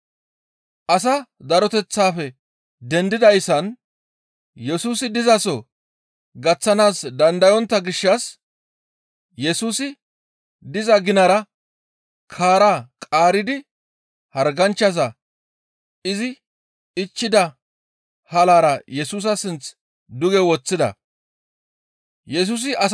Asaa daroteththafe dendidayssan Yesusi dizaso gaththanaas dandayontta gishshas Yesusi diza ginara kaara qaaridi harganchchaza izi ichchida halaara Yesusa sinth duge woththida. Ayhudata keeththa kaara